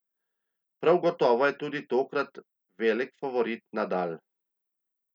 Prav gotovo je tudi tokrat velik favorit Nadal.